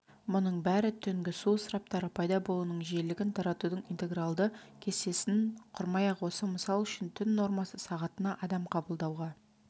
мұның бәрі түнгі су ысыраптары пайда болуының жиілігін таратудың интегралды кестесін құрмай-ақ осы мысал үшін түн нормасы сағатына адам қабылдауға